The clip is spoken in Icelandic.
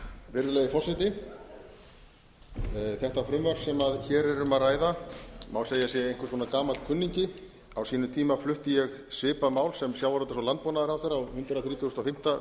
um að ræða má segja að sé einhvers konar gamall kunningi á sínum tíma flutti ég svipað mál sem sjávarútvegs og landbúnaðarráðherra á hundrað þrítugasta og fimmta